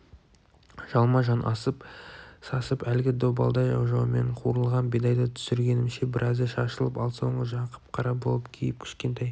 жалма-жан асып-сасып әлгі добалдай ожаумен қуырылған бидайды түсіргенімше біразы шашылып ал соңғы жағы қап-қара боп күйіп кішкентай